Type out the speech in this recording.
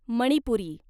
Manipuri